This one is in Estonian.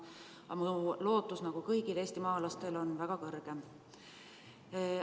Aga minu lootus, nagu kõigil eestimaalastel, on väga suur.